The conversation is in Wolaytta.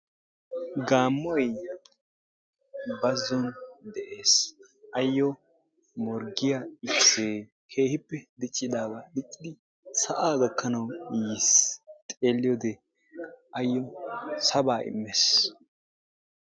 Gaammoyi bazzon de"es ayyo morggiya ikisee keehippe diccidaagaa diccidi sa"aa gakkanawu yis xeelliyode ayyo sabaa immes.